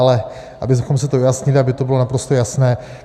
Ale abychom si to vyjasnili, aby to bylo naprosto jasné.